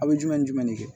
A bɛ jumɛn ni jumɛn de kɛ